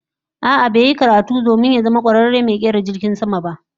A'a, ba ya yi karatu domin ya zama kwararen mai kera jirgin sama ba